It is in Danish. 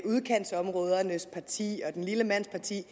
udkantsområdernes parti og den lille mands parti